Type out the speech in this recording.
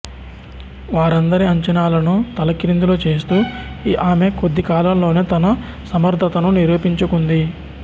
వారందరి అంచనాలను తలక్రిందులు చేస్తూ ఆమె కొద్ది కాలంలోనే తన సమర్థతను నిరూపించుకుంది